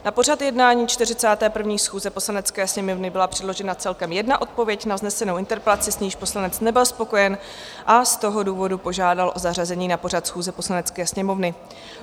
Na pořad jednání 41. schůze Poslanecké sněmovny byla předložena celkem jedna odpověď na vznesenou interpelaci, s níž poslanec nebyl spokojen, a z toho důvodu požádal o zařazení na pořad schůze Poslanecké sněmovny.